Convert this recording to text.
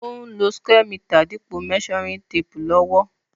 Ó n lo square meter dípò measuring tape lówó